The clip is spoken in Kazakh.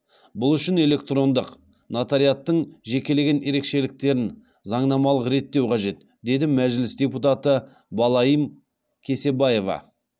бұл үшін электрондық нотариаттың жекелеген ерекшеліктерін заңнамалық реттеу қажет деді мәжіліс депутаты балаим кесебаева